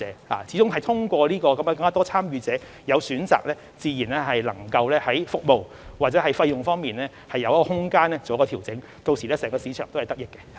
我們希望通過增加市場的參與者，在有選擇的情況下，讓服務和費用有調整的空間，令整個市場得益。